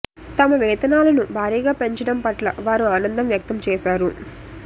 తమ వేతనాలను భారీగా పెంచడం పట్ల వారు ఆనందం వ్యక్తం చేశారు